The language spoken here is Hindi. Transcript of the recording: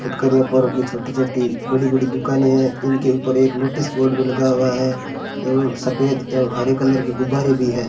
फुटकर व्यापारों की छोटी छोटी बड़ी बड़ी दुकान हैं इनके ऊपर एक नोटिस बोर्ड भी लगा हुआ है एवं सफेद एवं हरे कलर की गुब्बारे भी है।